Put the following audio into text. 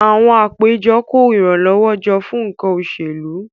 Àwọn àpéjọ kó ìrànlọ́wọ́ jọ fún nǹkan òṣèlú